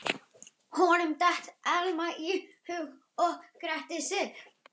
Honum datt Elma í hug og gretti sig.